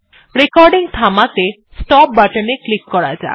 recording থামাতে stop বাটনে click করা যাক